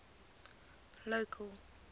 local